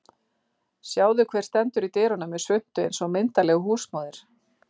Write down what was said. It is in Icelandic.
Sjáðu hver stendur í dyrunum með svuntu eins og myndarleg húsmóðir